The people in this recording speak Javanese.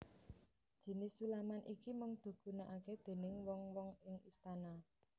Jinis sulaman iki mung dugunakake déning wong wong ing istana